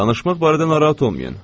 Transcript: Danışmaq barədə narahat olmayın.